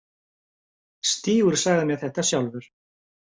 Stígur sagði mér þetta sjálfur.